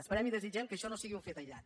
esperem i desitgem que això no sigui un fet aïllat